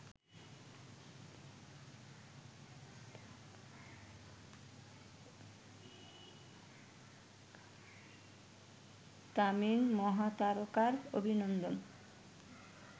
তামিল মহাতারকার অভিনন্দন